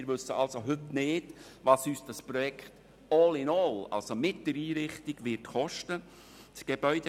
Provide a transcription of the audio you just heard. Wir wissen also heute nicht, was uns dieses Projekt «all in all» – also mit der Einrichtung – kosten wird.